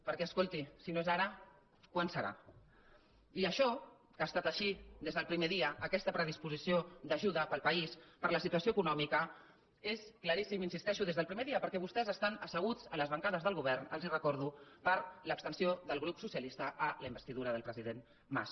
perquè escolti si no és ara quan serà i això que ha estat així des del primer dia aquesta predisposició d’ajuda per al país per la situació econòmica és claríssim hi insisteixo des del primer dia perquè vostès estan asseguts a les bancades del govern els ho recordo per l’abstenció del grup socialista a la investidura del president mas